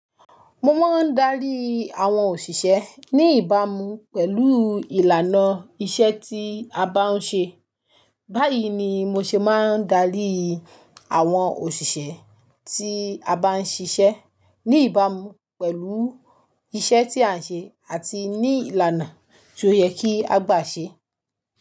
Mo máa ń darí àwọn òṣìṣẹ́ ní ìbámu pẹ̀lú ìlànà iṣẹ́ tí a bá ń ṣe. Báyìí ni mo ṣe máa ń darí àwọn òṣìṣẹ́ tí a bá ń ṣiṣẹ́ ní ìbámu pẹ̀lú iṣẹ́ tí à ń ṣe àti ní ìlànà tó yẹ kí a gbà ṣe.